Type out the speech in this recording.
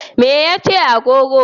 Me ya ce agogo?